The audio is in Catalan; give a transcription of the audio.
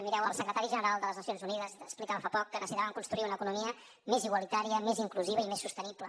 mireu el secretari general de les nacions unides explicava fa poc que necessitaven construir una economia més igualitària més inclusiva i més sostenible